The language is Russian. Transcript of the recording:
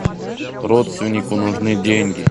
родственнику нужны деньги